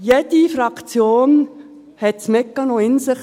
jede Fraktion hat den Mechanismus in sich: